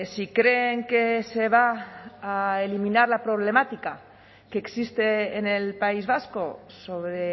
si creen que se va a eliminar la problemática que existe en el país vasco sobre